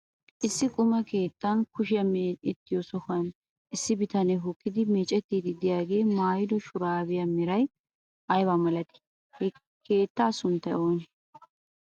Issi quma keettan kushiyaa me'ettiyoo sohuwaan issi bitanee hokkidi meccettiidi de'iyaagee maayido shuraabiyaa meray aybaa milatii? he keettaa sunttaykka oonee?